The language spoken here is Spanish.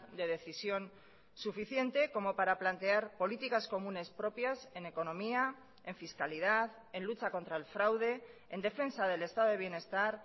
de decisión suficiente como para plantear políticas comunes propias en economía en fiscalidad en lucha contra el fraude en defensa del estado de bienestar